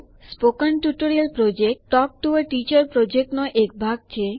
spoken tutorial project talk to a teacher યોજનાનો એક ભાગ છે